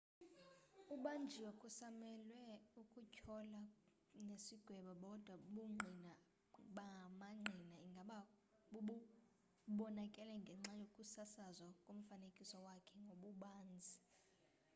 ubanjiwe kusamelwe ukutyholwa nesigwebo kodwa ubungqina bamangqina ingaba bubonakele ngenxa yokusasazwa komfanekiso wakhe ngobubanzi